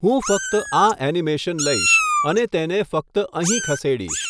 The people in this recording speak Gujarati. હું ફક્ત આ એનિમેશન લઈશ અને તેને ફક્ત અહીં ખસેડીશ.